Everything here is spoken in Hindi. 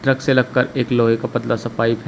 ट्रक से लगकर एक लोहे का पतला सा पाइप है।